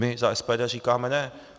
My za SPD říkáme ne.